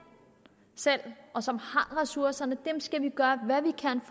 selv og som har ressourcerne skal vi gøre hvad vi kan